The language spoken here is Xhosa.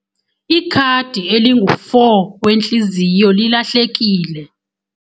Ikhadi elingu-4 wentliziyo lilahlekile.